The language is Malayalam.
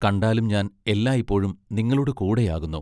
കണ്ടാലും ഞാൻ എല്ലായിപ്പോഴും നിങ്ങളോട് കൂടെയാകുന്നു.